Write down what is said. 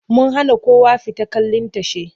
Mun hana kowa fita kallin tashe.